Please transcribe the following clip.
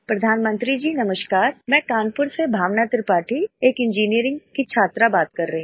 प्रधानमंत्री जी नमस्कार मैं कानपुर से भावना त्रिपाठी एक इंजीनियरिंग की छात्रा बात कर रही हूँ